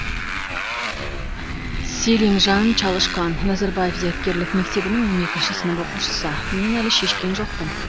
селимжан чалышкан назарбаев зияткерлік мектебінің он екінші сынып оқушысы мен әлі шешкен жоқпын